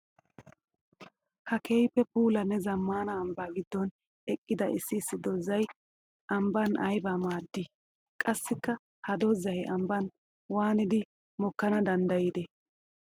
Ha keehippe puulanne zamaana ambba gidon eqqidda issi issi doozay ambban aybba maadi? Qassikka ha doozay ambban waaniddi mokkanna danddayi?